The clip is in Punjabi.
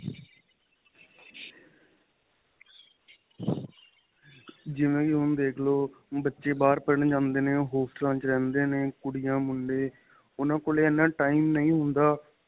ਜਿਵੇਂ ਵੀ ਹੁਣ ਦੇਖਲੋ ਬੱਚੇ ਬਹਾਰ ਪੜ੍ਹਨ ਜਾਂਦੇ ਨੇ ਉਹ ਹੋਸਟਲਾਂ ਵਿੱਚ ਰਹਿੰਦੇ ਨੇ ਕੁੜੀਆਂ ਮੁੰਡੇ ਉਹਨਾ ਕੋਲੋਂ ਇਹਨਾ time ਨਹੀਂ ਹੁੰਦਾ